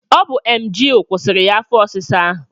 Ọ bu emgyl kwụsịrị ya afọ ọsịsa ahụ